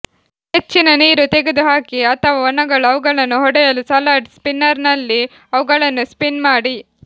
ಹೆಚ್ಚಿನ ನೀರು ತೆಗೆದುಹಾಕಿ ಅಥವಾ ಒಣಗಲು ಅವುಗಳನ್ನು ಹೊಡೆಯಲು ಸಲಾಡ್ ಸ್ಪಿನ್ನರ್ನಲ್ಲಿ ಅವುಗಳನ್ನು ಸ್ಪಿನ್ ಮಾಡಿ